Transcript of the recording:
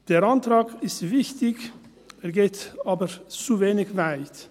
Der Antrag ist wichtig, er geht aber zu wenig weit.